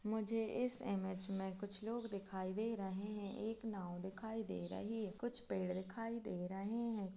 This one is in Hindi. मुझे इस इमेज में कुछ लोग दिखाई दे रहे है नव दिखाई दे रही है कुछ पेड़ दिखाई दे रहे है।